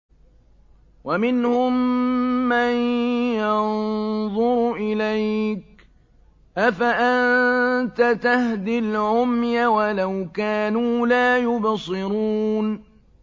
وَمِنْهُم مَّن يَنظُرُ إِلَيْكَ ۚ أَفَأَنتَ تَهْدِي الْعُمْيَ وَلَوْ كَانُوا لَا يُبْصِرُونَ